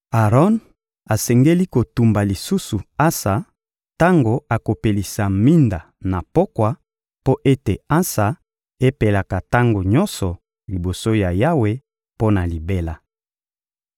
Aron asengeli kotumba lisusu ansa tango akopelisa minda na pokwa mpo ete ansa epelaka tango nyonso liboso ya Yawe mpo na libela.